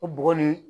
O bɔgɔ nin